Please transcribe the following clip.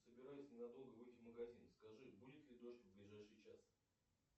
собираюсь ненадолго выйти в магазин скажи будет ли дождь в ближайший час